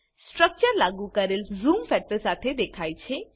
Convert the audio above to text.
structure લાગુ કરેલ zoom factor સાથે દેખાય છે